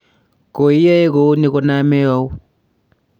koi yoe kou ni koname au?